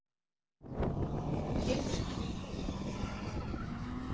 Kemur ekki til mála.